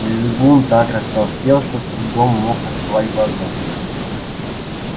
визгун так растолстел что с трудом мог открывать глаза